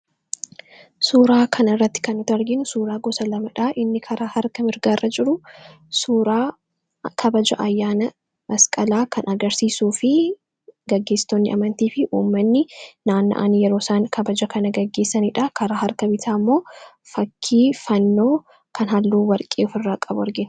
suuraa kan irratti kan nuti arginu suuraa gosa lamadha inni karaa harka mirgaarra jiru suuraa kabaja ayyaana masqalaa kan agarsiisuu fi gaggeessitonni amantii fi uumanni naanna'an yeroo isaan kabaja kana gaggeessaniidha karaa harka bitaa immoo fakkii fannoo kan halluu warqee of irraa qabu argina.